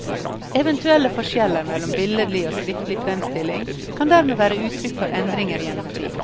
Eventuelle forskjeller mellom billedlig og skriftlig fremstilling kan dermed være uttrykk for endringer gjennom tid.